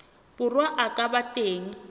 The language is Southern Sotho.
borwa a ka ba teng